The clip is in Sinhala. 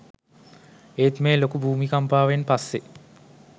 ඒත් මේ ලොකු භූමිකම්පාවෙන් පස්සේ